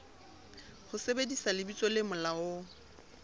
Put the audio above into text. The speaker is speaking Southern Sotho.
ho sebedisa lebitso le molaong